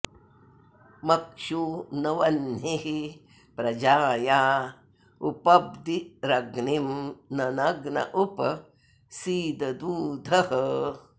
मक्षू न वह्निः प्रजाया उपब्दिरग्निं न नग्न उप सीददूधः